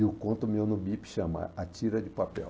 E o conto meu no Bip chama A Tira de Papel.